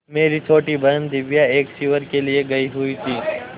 मेरी छोटी बहन दिव्या एक शिविर के लिए गयी हुई थी